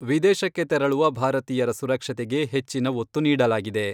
ವಿದೇಶಕ್ಕೆ ತೆರಳುವ ಭಾರತೀಯರ ಸುರಕ್ಷತೆಗೆ ಹೆಚ್ಚಿನ ಒತ್ತು ನೀಡಲಾಗಿದೆ.